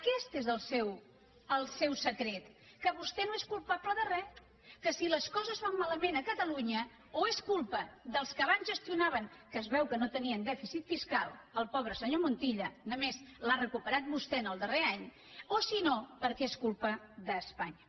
aquest és el seu secret que vostè no és culpable de re que si les coses van malament a catalunya o és culpa dels que abans gestionaven que es veu que no tenien dèficit fiscal el pobre senyor montilla només l’ha recuperat vostè el darrer any o si no perquè és culpa d’espanya